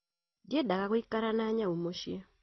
Ndiendaga guĩkara na nyau mũciĩ